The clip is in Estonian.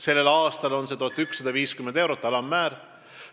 Sellel aastal on nende töötasu alammäär 1150 eurot.